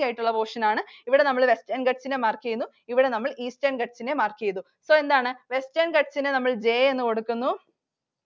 ആയിട്ടുള്ള portion ആണ്. ഇവിടെ നമ്മൾ Western Ghats നെ mark ചെയ്യുന്നു. ഇവിടെ നമ്മൾ Eastern Ghats നെ mark ചെയ്തു. So എന്താണ്? Western Ghats നെ നമ്മൾ J എന്ന് കൊടുക്കുന്നു.